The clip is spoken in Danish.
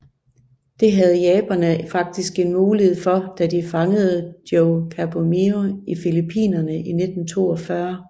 Det havde japanerne faktisk en mulighed for da de fangede Joe Kieyoomia i Filippinerne i 1942